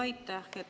Aitäh!